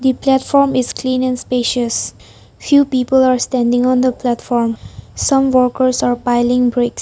The platform is clean and spacious few people are standing on the platform some workers are piling bricks.